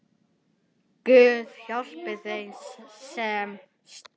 Guð, hjálpi þeim, sem stal!